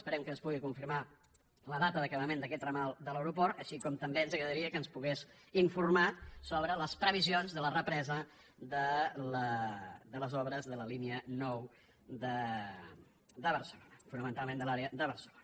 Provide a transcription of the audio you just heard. esperem que ens pugui confirmar la data d’acabament d’aquest ramal de l’aeroport així com també ens agradaria que ens pogués informar sobre les previsions de la represa de les obres de la línia nou de barcelona fonamentalment de l’àrea de barcelona